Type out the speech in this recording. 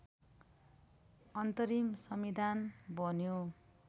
अन्तरिम संविधान बन्यो